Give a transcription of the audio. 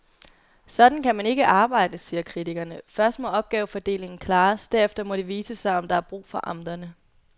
Sådan kan man ikke arbejde, siger kritikerne, først må opgavefordelingen klares, derefter må det vise sig, om der er brug for amterne.